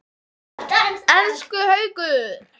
Elsku Haukur!